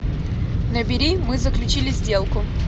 набери мы заключили сделку